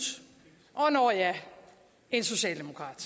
og nåh ja en socialdemokrat